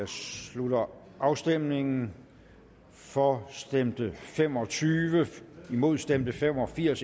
slutter afstemningen for stemte fem og tyve imod stemte fem og firs